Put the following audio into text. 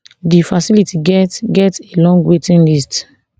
di facility get get a long waiting list